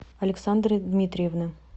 александры дмитриевны